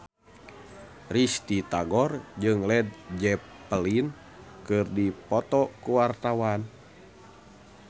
Risty Tagor jeung Led Zeppelin keur dipoto ku wartawan